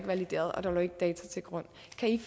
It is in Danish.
valideret og at der ikke lå data til grund